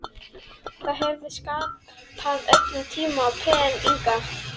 Það hefði sparað öllum tíma og pen inga.